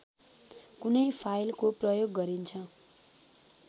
कुनै फाइलको प्रयोग गरिन्छ